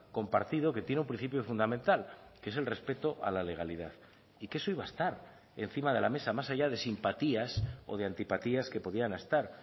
compartido que tiene un principio fundamental que es el respeto a la legalidad y que eso iba a estar encima de la mesa más allá de simpatías o de antipatías que podían estar